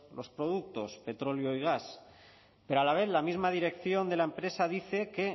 los productos petróleo y gas pero a la vez la misma dirección de la empresa dice que